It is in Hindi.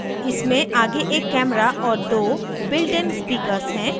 इसमें आगे एक camera और दो builtइन speakers हैं